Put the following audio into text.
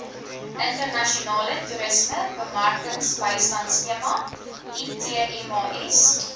internasionale toerismebemarkingsbystandskema itmas